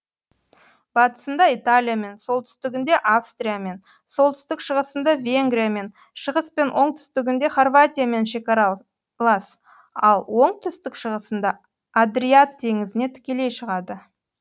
батысында италиямен солтүстігінде австриямен солтүстік шығысында венгриямен шығыс пен оңтүстігінде хорватиямен шекаралас ал оңтүстік шығысында адриат теңізіне тікелей шығады